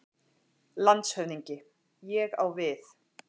LANDSHÖFÐINGI: Ég á við.